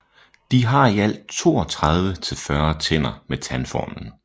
De har i alt 32 til 40 tænder med tandformlen